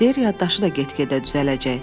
Deyir yaddaşı da get-gedə düzələcək.